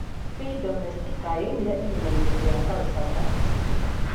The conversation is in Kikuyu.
P. domestica yoimire irĩma-inĩ cia Caucasus